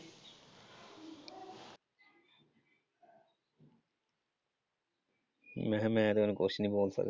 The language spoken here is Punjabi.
ਮੈਂ ਕਿਹਾ ਮੈਂ ਤੇ ਹੁਣ ਕੁੱਛ ਨਈਂ ਬੋਲ ਸਕਦਾ।